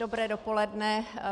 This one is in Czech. Dobré dopoledne.